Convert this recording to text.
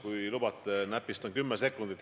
Kui lubate, ma näpistan teilt kümme sekundit.